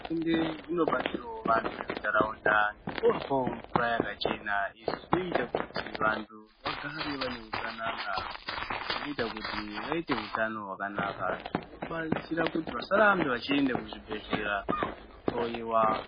Hurumende inobatsirawo vantu vemuntaraunda ngekuwapawo mvura yakachena izvizvinoita kuti vantu vagare vane utsanana, zvinoita kuti vaite utano hwakanaka. Zvinobatsire kuti vasarambe vachienda kuzvibhedhleya kunohloyiwa.